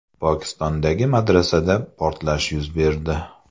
Pokistondagi madrasada portlash yuz berdi.